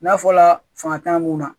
N'a fɔla fanga t'an mun na